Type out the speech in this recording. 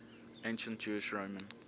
ancient jewish roman